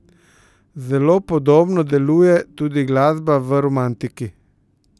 Zelo podobno deluje tudi glasba v romantiki.